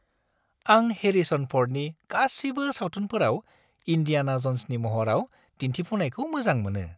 आं हेरिसन फ'र्डनि गासिबो सावथुनफोराव इन्डियाना ज'न्सनि महराव दिन्थिफुंनायखौ मोजां मोनो।